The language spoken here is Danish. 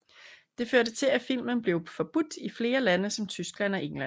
Det førte til at filmen blev forbudt i flere lande som Tyskland og England